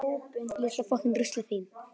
Mamma spyr strax hvað ami að.